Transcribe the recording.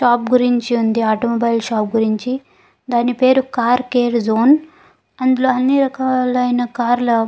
shop గురుంచి ఉంది automobile shop గురించి దాని పేరు కార్ కేర్ జోన్ అందులో అన్ని రకాలైన కార్ల --